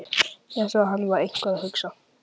Ég sá að hann var eitthvað að hugsa.